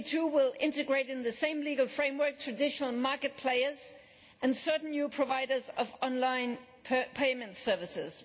will integrate in the same legal framework traditional market players and certain new providers of online payment services.